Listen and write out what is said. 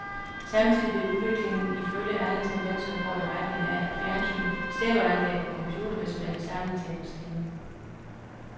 Samtidig vil udviklingen ifølge alle tendenser gå i retning af, at fjernsyn, stereoanlæg og computer vil smelte sammen til en maskine.